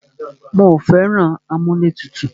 Mí ò fẹ́ràn amúlẹ̀tutù.